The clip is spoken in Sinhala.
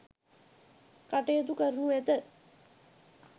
කටයුතු කරනු ඇත.